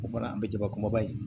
O kɔni an bɛ jaba kumaba in